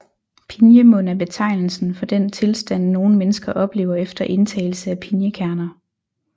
Pinjemund er betegnelsen for den tilstand nogle mennesker oplever efter indtagelse af pinjekerner